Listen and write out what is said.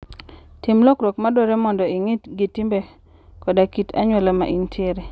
Tim lokruok madwarore mondo ing'i gi timbe koda kit anyuola ma intiere.